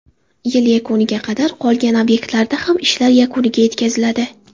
Yil yakuniga qadar qolgan obyektlarda ham ishlar yakuniga yetkaziladi.